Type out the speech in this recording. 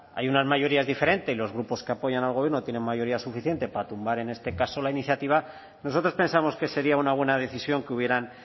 hay unas mayorías diferentes y los grupos que apoyan al gobierno tienen mayoría suficiente para tumbar en este caso la iniciativa nosotros pensamos que sería una buena decisión que hubieran